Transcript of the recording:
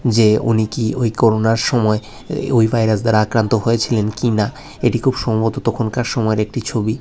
যে উনি কি ওই করুণার সময় ওই ভাইরাস দ্বারা আক্রান্ত হয়েছিলেন কিনা এটি খুব সম্ভবত তখনকার সময়ের একটি ছবি।